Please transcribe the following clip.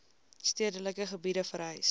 stedelike gebiede verhuis